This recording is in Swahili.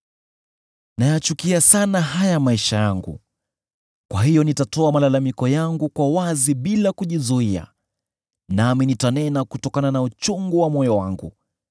“Nayachukia sana haya maisha yangu; kwa hiyo nitatoa malalamiko yangu kwa wazi bila kujizuia, nami nitanena kutokana na uchungu wa moyo wangu.